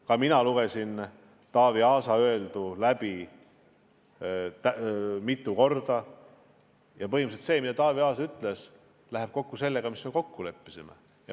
Ka mina lugesin Taavi Aasa öeldu mitu korda läbi ja põhimõtteliselt see, mida ta ütles, läheb kokku sellega, mis me kokku leppisime.